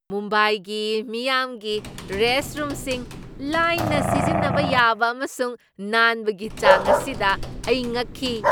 ꯃꯨꯝꯕꯥꯏꯒꯤ ꯃꯤꯌꯥꯝꯒꯤ ꯔꯦꯁꯠꯔꯨꯝꯁꯤꯡ ꯂꯥꯏꯅ ꯁꯤꯖꯤꯟꯅꯕ ꯌꯥꯕ ꯑꯃꯁꯨꯡ ꯅꯥꯟꯕꯒꯤ ꯆꯥꯡ ꯑꯁꯤꯗ ꯑꯩ ꯉꯛꯈꯤ꯫